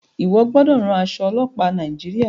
iwọ gbódò rán Aṣọ ọlọpa Nàìjíríà!